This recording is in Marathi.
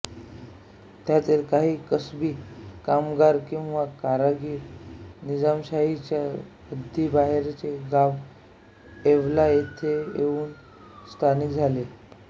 त्यातील काही कसबी कामगार किंवा कारागीर निजामशाहीच्या हद्दीबाहेरचे गाव येवला येथे येऊन स्थायिक झाले